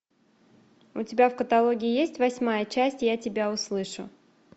у тебя в каталоге есть восьмая часть я тебя услышу